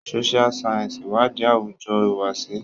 Social Sciences iwadi awujo ihuwasi.